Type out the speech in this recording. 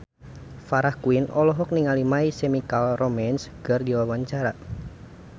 Farah Quinn olohok ningali My Chemical Romance keur diwawancara